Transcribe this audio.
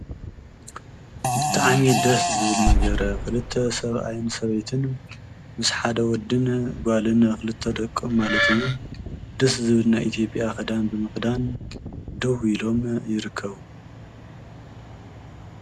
ብጣዕሚ ደስዝብል ነገር ኽልተ ሰብኣይን ሰበይትን ምስ ሓደ ወድን ጓልን ኽልተ ደቁም ማለት እዩ ድስ ዝብል ናይኢቲዮያ ኣከዳድና ብምኽዳን ደው ኢሎም ይርከዉ።